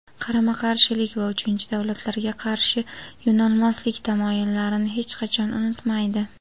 qarama-qarshilik va uchinchi davlatlarga qarshi yo‘nalmaslik tamoyillarini hech qachon unutmaydi.